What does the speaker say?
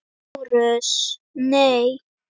LÁRUS: Nei!